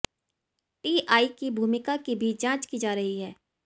TI की भूमिका की भी जांच की जा रही है